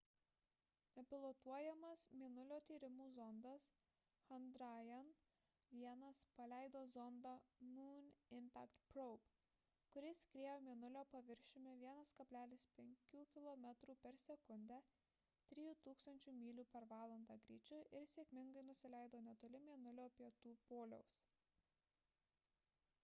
nepilotuojamas mėnulio tyrimų zondas chandrayaan-1 paleido zondą moon impact probe kuris skriejo mėnulio paviršiumi 1,5 kilometrų per sekundę 3 000 mylių per valandą greičiu ir sėkmingai nusileido netoli mėnulio pietų poliaus